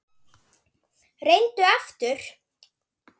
Reyndu aftur.